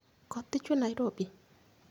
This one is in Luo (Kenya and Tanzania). Koth dhi chwee Nairobi?